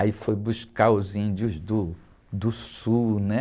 Aí fui buscar os índios do, do sul.